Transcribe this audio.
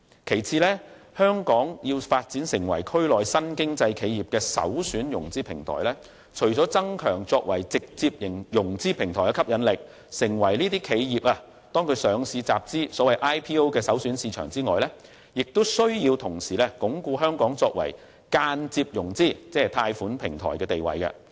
第二，香港要發展成為區內新經濟企業的首選融資平台，除增強作為直接融資平台的吸引力，成為企業上市集資的首選市場外，亦須同時鞏固香港作為間接融資，即貸款平台的地位。